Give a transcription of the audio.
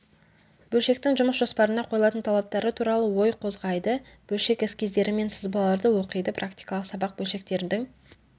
бөлшектің жұмыс жоспарына қойылатын талаптары туралы ой қозғайды бөлшек эскиздері мен сызбаларды оқиды практикалық сабақ бөлшектердің